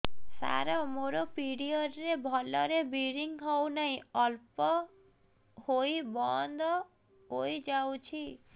ସାର ମୋର ପିରିଅଡ଼ ରେ ଭଲରେ ବ୍ଲିଡ଼ିଙ୍ଗ ହଉନାହିଁ ଅଳ୍ପ ହୋଇ ବନ୍ଦ ହୋଇଯାଉଛି